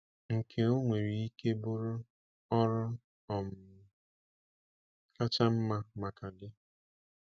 Nke onwere ike bụrụ ọrụ um kacha mma maka gị?